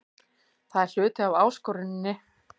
Það er hluti af áskoruninni.